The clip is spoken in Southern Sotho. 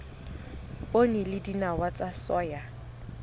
poone le dinawa tsa soya